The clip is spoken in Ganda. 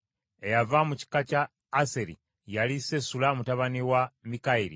Eyava mu kika kya Aseri yali Sesula mutabani wa Mikaeri.